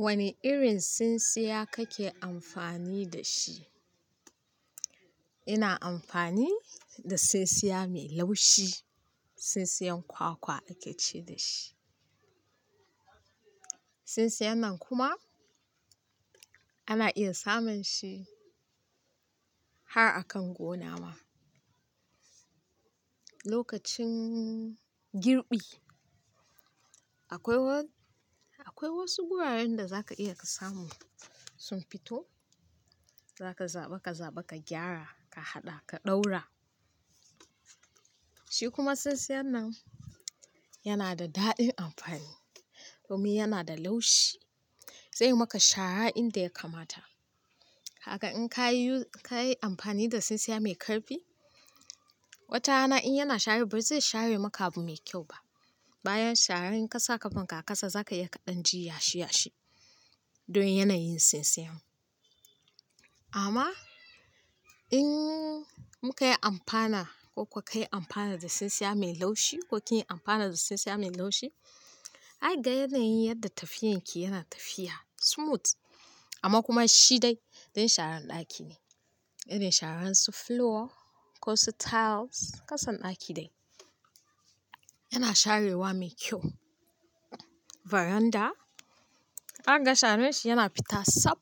Wane irin tsintsiya kake amfani da shi? Ina amfani da tsintsiya mai laushi, tsintsiyan kwakwa ake ce da shi. Tsintsiyan nan kuma ana iya samun shi har a kan gona ma. Lokacin girbi akwai wa akwai wasu guraren da zaka iya ka samu sun fito, zaka zaɓa ka zaba ka gyara, ka haɗa ka ɗaura. Shi kuma tsintsiyan nan yana da daɗin amfani domin yana da laushi zai maka shara inda ya kamata. Haka in ka yi amfani da tsintsiya mai ƙarfi, watarana in yana share ba zai share maka abu mai kyau ba. Bayan shara in kasa kafan ka a kasa zaka iya ka danji yashi yashi don yanayin tsintsiyan. Amma in muka yi amfana ko kk ka yi amfana da tsintsiya mai laushi ko kin yi amfana da tsintsiya mai laushi, ai ga yanayin yadda tafiyan ki yana tafiya smooth amma kuma shi dai dan sharan ɗaki ne, irin sharan su floor ko su tiles kasan ɗaki dai. Yana sharewa mai kyau. Faranda za ka ga sharan shi yana fita sab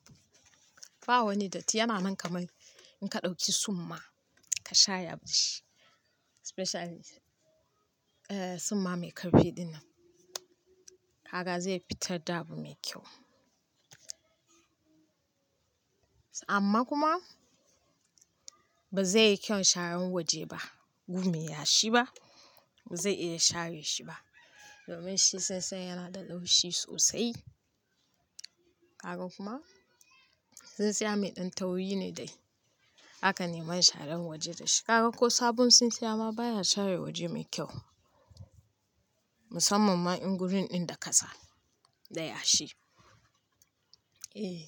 ba wani datti yana nan kaman in ka ɗauki summa ka share abu da shi especially eh summa mai ƙarfi din nan. Haka zai fitar da abu mai kyau. Amma kuma ba zai yi kyau sharan waje ba, gume yashi ba, ba zai iya share shi ba domin shi tsintsiyan yana da laushi sosai. Kaga kuma tsintsiya mai ɗan tauri ne dai. Haka ne man sharan waje da shi. Haka ko sabon tsintsiya ma baya share waje mai kyau musamman ma in gurin ɗin da kasa da yashi. Eh,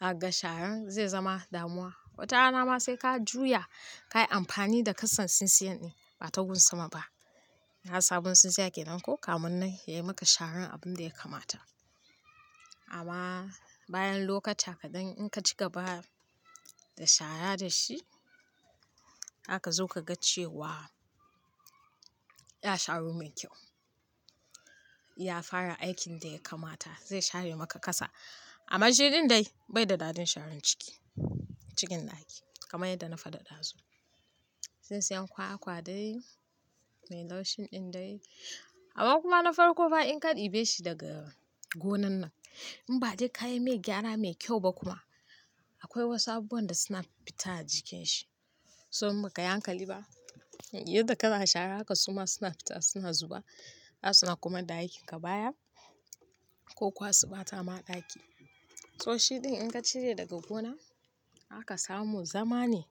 za ka ga sharan zai zama damuwa. Watarana ma sai ka juya ka yi amfani da kasan tsintsiyan din ba ta gun sama ba. Har sabon tsintsiya ke nan ko kamun nan ya yi maka sharan abin da ya kamata. Amma bayan lokaca kaɗan in ka ci gaba da shara da shi zaka zo ka ga cewa ya sharu mai kyau. Ya fara aikin da ya kamata zai share maka kasa. Amma shi ɗin dai bai da dadin sharan ciki cikin ɗaki kamar yadda na faɗa ɗazu. Tsintsiyan kwakwa dai mai laushin ɗin dai amma kuma na farko fa in ka ɗibe shi daga gonan nan in ba dai ka yi mai gyara mai kyau ba kuma akwai wasu abubuwan da suna fita a jikin shi. To in ba ka yi hankali ba yadda ka na shara haka suma suna fita suna zuba. Za suna komar da aikin ka baya ko kuwa su ɓata ma ɗaki. To shi ɗin in ka cire daga gona zaka samu zama ne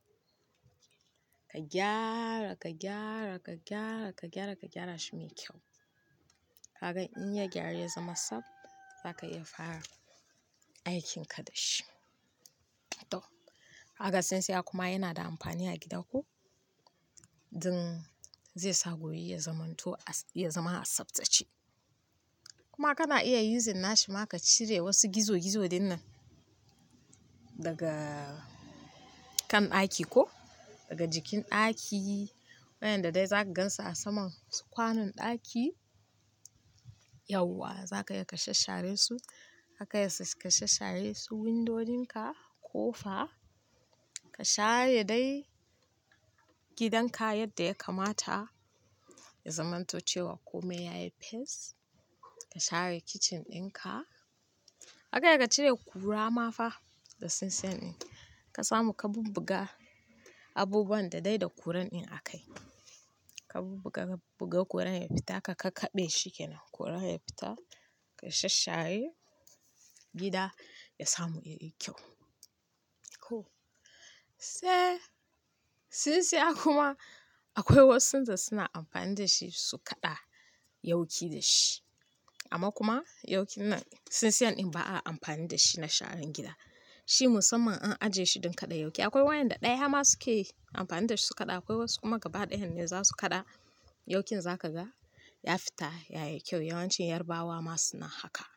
ka gyara, ka gyara, ka gyara, ka gyara, ka gyara shi mai kyau. Kaga in ya gyaru ya zama sab zaka iya fara aikinka da shi. To haka tsintsiya kuma yana da amfani a gida ko don zai sa guri ya zamanto, ya zama a sabtace. Kuma kana iya using nashi ma ka cire wasu gizo gizo din nan daga kan ɗaki ko daga jikin ɗaki. Waenda da dai za ka gansu a saman su kwanon ɗaki yauwa za ka iya ka shashshare su. Haka ya sa ka shashshare su windodinka ko fa ka share dai gidan ka yadda ya kamata ya zamanto cewa kome yayi pes. Ka share kicin ɗin ka. Za iya ka cire ƙura ma fa da tsintsiyan ɗin ka samu ka bubbuga abubuwan da dai da kuran din a kai. Ka bubbuga ka bubbuga kuran ya fita ka kakkaɓe shi ke nan kura ya fita ka shashshare gida ya samu ya yi kyau. Ko. Sae tsintsiya kuma akwai wasu da suna amfani da shi su kaɗa yawki da shi. Amma kuma yawkin nan tsintsiyan ɗin ba a amfani da shi na sharan gida. Shi musamman an ajiye shi don kaɗa yawki. Akwai wayanda ɗaya ma suke yi amfani da shi su kaɗa akwai wasu kuma gaba ɗayan ne za su kaɗa yaukin za ka ga ya fita yayi kyau. Yawancin yarbawa ma suna haka.